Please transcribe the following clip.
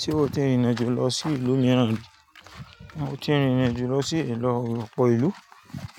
Ṣé o ti rìnrìn àjò lọ sí ìlú mìíràn? Mo ti rìnrìn àjò lọ sí ìlú ọ̀pọ̀ ìlú,